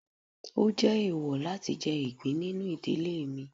o jé eèwò latí jẹ igbín ninú ìdílé mí.